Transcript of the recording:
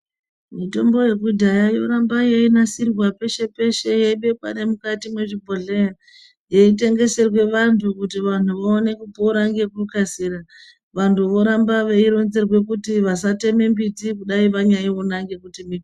Mitombo yekudhaya yoramba yeinasirwa peshe peshe yeibekwe nemukati mezvibhedhlera yeitengeserwe vantu kuti vantu vaone kupora ngekukasira vantu voramba veironzerwa kuti vasatemi miti nyangwe vanyaiona nemuti .